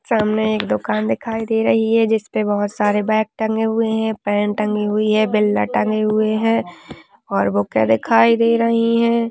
सामने एक दुकान दिखाई दे रही है जिसपे बहोत सारे बेग टंगे हुए है पेन टंगी हुई है बिलरा टंगे हुए है और बुके दिखाई दे रहीं है।